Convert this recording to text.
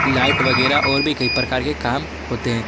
Light वगैरा और भी कई प्रकार के काम होते हैं।